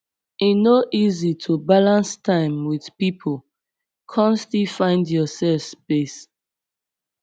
e no easy to balance time with people come still find yourself space